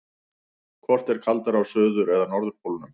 Hvort er kaldara á suður- eða norðurpólnum?